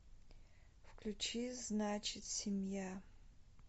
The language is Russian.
включи значит семья